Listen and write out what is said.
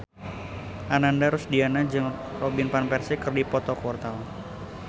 Ananda Rusdiana jeung Robin Van Persie keur dipoto ku wartawan